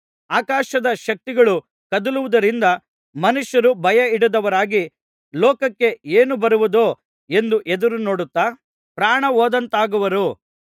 ಆಕಾಶದ ಶಕ್ತಿಗಳು ಕದಲುವುದರಿಂದ ಮನುಷ್ಯರು ಭಯಹಿಡಿದವರಾಗಿ ಲೋಕಕ್ಕೆ ಏನು ಬರುವುದೋ ಎಂದು ಎದುರು ನೋಡುತ್ತಾ ಪ್ರಾಣಹೋದಂತಾಗುವರು